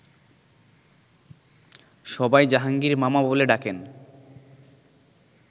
সবাই জাহাঙ্গীর মামা বলে ডাকেন